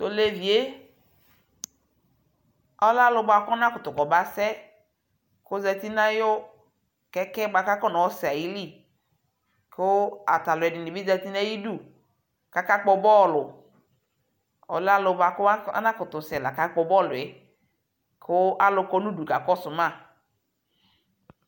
Tolevie, ɔlɛ alu bua kɔba kutu kɔba sɛ, kozati nayu kɛkɛ ba kɔnɔ sɛ ayili ku ata aluɛdini bi zati nayiɖu kaka kpɔ bɔlu Ɔlɛ ɔlu buaku anakutu sɛ la kakpɔ bɔluɛ ku alu kɔ nu ɗu kakɔ su ma